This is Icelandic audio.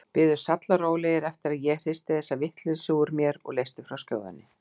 Biðu sallarólegir eftir að ég hristi þessa vitleysu úr mér og leysti frá skjóðunni.